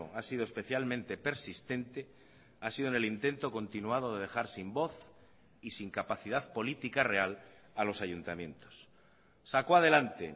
ha sido especialmente persistente ha sido en el intento continuado de dejar sin voz y sin capacidad política real a los ayuntamientos sacó adelante